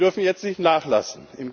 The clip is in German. Wir dürfen jetzt nicht nachlassen.